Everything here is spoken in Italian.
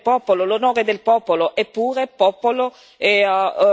La dittatura del popolo, l'orgoglio del popolo, l'onore del popolo.